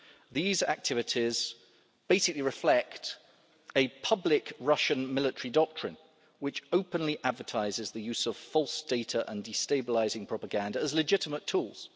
These activities basically reflect a public Russian military doctrine which openly advertises the use of false data and destabilising propaganda as legitimate tools.